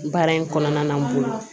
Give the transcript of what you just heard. Baara in kɔnɔna na n bolo